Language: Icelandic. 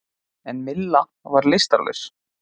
En Milla var lystarlaus.